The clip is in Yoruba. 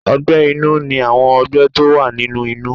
Ọgbẹ́ inú ní àwọn ọgbẹ́ tó wà nínú inú.